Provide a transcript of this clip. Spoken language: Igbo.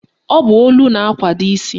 Ọ bụ olu na-akwado isi